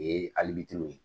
O ye alibitiri ye